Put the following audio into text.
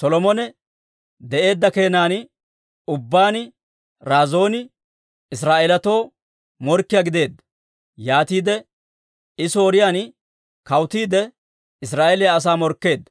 Solomone de'eedda keenan ubbaan Razooni Israa'eeletoo morkkiyaa gideedda; yaatiide I Sooriyaan kawutiide Israa'eeliyaa asaa morkkeedda.